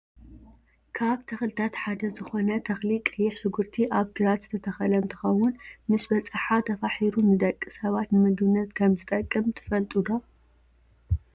ካብ ተክልታት ሓደ ዝኮነ ትክሊ ቀይሕ ሽኩርቲ ኣብ ግራት ዝተተከለ እንትከውን ምስ በፀሓ ተፋሒሩ ንደቂ ሰባት ንምግብነት ከምዝጠቅም ትፈልጡ ዶ ?